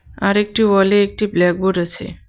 আর একটি ওয়ালে একটি ব্ল্যাকবোর্ড আছে.